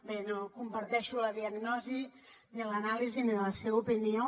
bé no comparteixo la diagnosi ni l’anàlisi ni la seva opinió